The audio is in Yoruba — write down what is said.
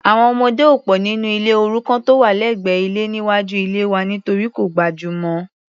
Àwọn ọmọdé ò pò nínú ilé òrukàn tó wà lẹ́gbẹ́ ilé níwájú ilée wa nítorí kò gbajúmọ̀.